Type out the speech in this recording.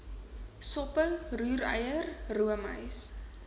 soppe roereier roomys